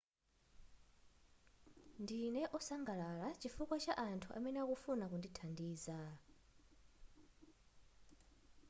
ndine wosangalala chifukwa cha anthu amene akufuna kundithandiza